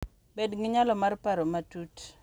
Bed gi nyalo mar paro matut,